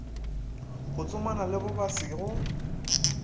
go tsomana le bobasi go